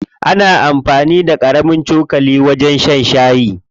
Ana amfani da ƙarami cokali wajen shan shayi.